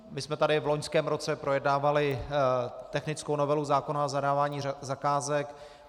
My jsme tady v loňském roce projednávali technickou novelu zákona o zadávání zakázek.